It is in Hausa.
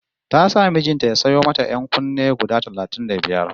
Ta sa mijin ta ya sayo mata ƴan-kunne guda talatin da biyar